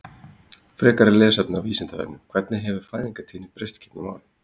Frekara lesefni á Vísindavefnum: Hvernig hefur fæðingartíðni breyst gegnum árin?